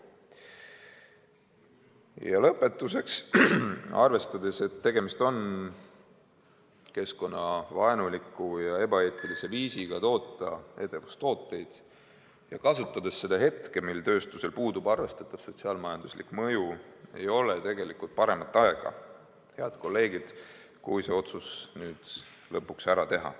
Ja lõpetuseks: arvestades, et tegemist on keskkonnavaenuliku ja ebaeetilise viisiga toota edevustooteid, ja arvestades ka seda, et sel tööstusel puudub praegu arvestatav sotsiaal-majanduslik mõju, võib öelda, et ei ole paremat aega, head kolleegid, see otsus nüüd lõpuks ära teha.